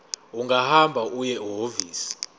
ungahamba uye ehhovisi